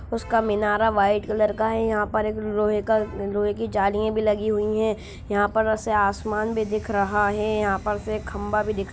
उसका मिनारा white colour का है यहा पर एक लोहै का लोहै की जालिया भी लगी हुई है यहा पर से आसमान भी दिख रहा है यहा पर से खंभा भी दिख --